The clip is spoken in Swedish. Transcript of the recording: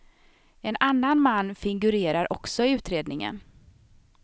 En annan man figurerar också i utredningen.